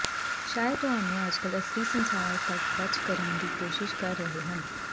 ਸ਼ਾਇਦ ਤੁਹਾਨੂੰ ਅੱਜਕੱਲ੍ਹ ਅਸਲੀ ਸੰਸਾਰ ਤੱਕ ਬਚ ਕਰਨ ਦੀ ਕੋਸ਼ਿਸ਼ ਕਰ ਰਹੇ ਹਨ